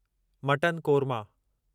mutton korma